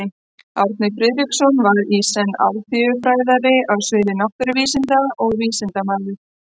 Árni Friðriksson var í senn alþýðufræðari á sviði náttúruvísinda og vísindamaður.